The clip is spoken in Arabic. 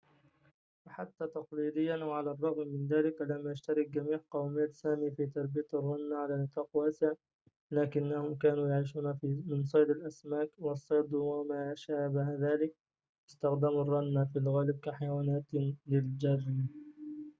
وحتى تقليدياً وعلى الرغم من ذلك لم يشترك جميع قومية سامي في تربية الرنة على نطاق واسع لكنهم كانوا يعيشون من صيد الأسماك والصيد وما شابه ذلك واستخدموا الرنة في الغالب كحيوانات للجر